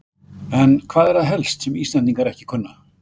En hvað er það helst sem Íslendingar ekki kunna?